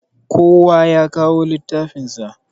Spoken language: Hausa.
Kowa yakawo littafin sa.